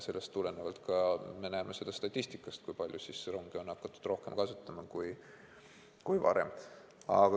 Sellest tulenevalt me näeme statistikast, kui palju on hakatud rongi rohkem kasutama kui varem.